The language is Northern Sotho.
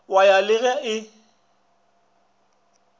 wa ya le ge e